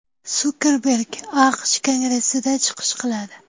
Sukerberg AQSh Kongressida chiqish qiladi.